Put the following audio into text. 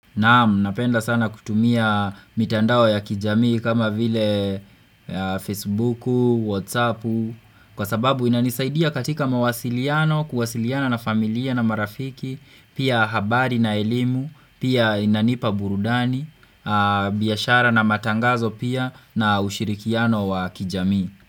Naamu, napenda sana kutumia mitandao ya kijamii kama vile Facebooku, Whatsappu Kwa sababu inanisaidia katika mawasiliano, kuwasiliana na familia na marafiki Pia habari na elimu, pia inanipa burudani, biashara na matangazo pia na ushirikiano wa kijamii.